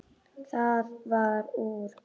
Það varð úr.